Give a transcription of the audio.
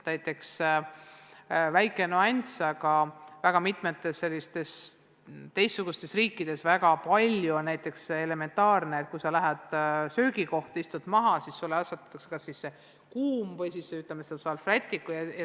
Näiteks üks väike nüanss: väga mitmetes sellistes teistsugustes riikides on elementaarne, et kui sa lähed söögikohta ja istud maha, siis sulle asetatakse ette kuum salvrätik.